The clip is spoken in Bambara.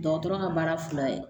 Dɔgɔtɔrɔ ka baara fila ye